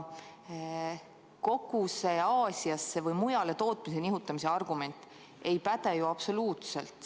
Kogu see Aasiasse või mujale tootmise nihutamise argument ei päde ju absoluutselt!